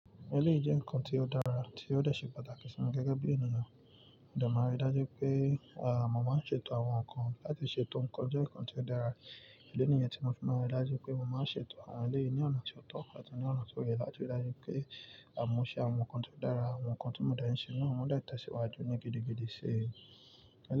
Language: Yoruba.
Eleyi je kan tí ó dára tí ó dẹ̀ ṣe pàtàkì sí mi gẹ́gẹ́ bí ènìyàn. Mo de maa ri dájú pé, à, mo máa ń ṣètò àwọn nǹkan láti ṣètò nǹkan jẹ́ nǹkan tí ó dára. Idi niyen tí mo fún mọ ara dájú pé mo máa ń ṣètò àwọn eléyìí ní ọ̀nà tí ó tọ́ ká tí ní ọ̀nà tí ó yẹ láti dájú pé àmu ṣe àwọn nǹkan tí ó dára, àwọn nǹkan tí mo dẹ̀ ń ṣe níwọ̀n máa ń dẹ̀ tẹ̀síwájú ní gidigidi sí í.